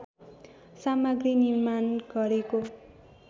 सामग्री निर्माण गरेको